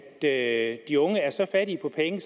at de unge er så fattige på penge